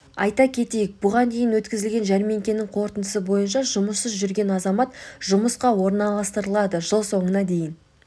айта кетейік бұған дейін өткізілген жәрмеңкенің қорытындысы бойынша жұмыссыз жүрген азамат жұмысқа орналастырылды жыл соңына дейін